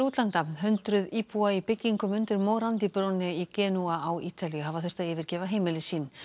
hundruð íbúa í byggingum undir morandi brúnni í Genúa á Ítalíu hafa þurft að yfirgefa heimili sín